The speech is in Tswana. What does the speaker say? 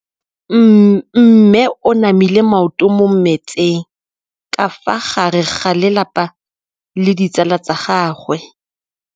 Mme o namile maoto mo mmetseng ka fa gare ga lelapa le ditsala tsa gagwe.